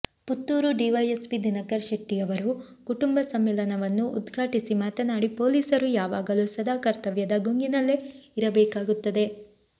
Puttur DYSP Dinakar ಶೆಟ್ಟಿಯವರು ಕುಟುಂಬ ಸಮ್ಮಿಲವನ್ನು ಉದ್ಘಾಟಿಸಿ ಮಾತನಾಡಿ ಪೊಲೀಸರು ಯಾವಾಗಲು ಸದಾ ಕರ್ತವ್ಯದ ಗುಂಗಿನಲ್ಲೇ ಇರಬೇಕಾಗುತ್ತದೆ